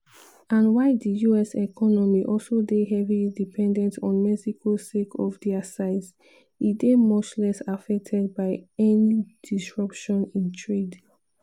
and while di us economy also dey heavily dependent on mexico sake of dia size e dey much less affected by any disruption in trade.